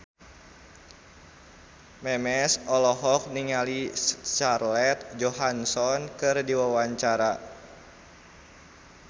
Memes olohok ningali Scarlett Johansson keur diwawancara